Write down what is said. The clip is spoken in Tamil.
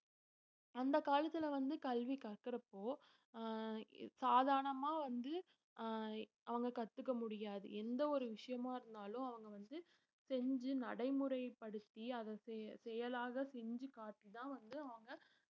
அந்த காலத்துல வந்து கல்வி கற்கறப்போ ஆஹ் சாதாரணமா வந்து ஆஹ் அவங்க கத்துக்க முடியாது எந்த ஒரு விஷயமா இருந்தாலும் அவங்க வந்து செஞ்சு நடைமுறைப்படுத்தி அதை செ~ செயலாக செஞ்சு காட்டிதான் வந்து அவங்க